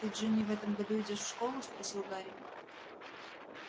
ты джинни в этом году идёшь в школу спросил гарри